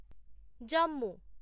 Jammu